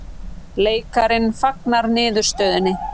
Leikarinn fagnar niðurstöðunni